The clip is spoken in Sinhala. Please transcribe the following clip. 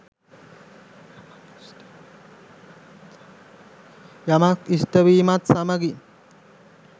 යමක් ඉෂ්ට වීමත් සමඟින්